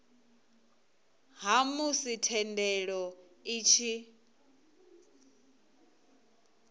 ha musi thendelo i tshi